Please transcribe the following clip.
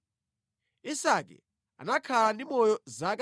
Isake anakhala ndi moyo zaka 180.